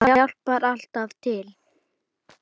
Það hjálpar alltaf til.